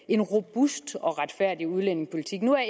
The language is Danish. en robust og retfærdig udlændingepolitik nu er